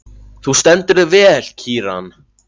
Þú stendur þig vel, Kíran!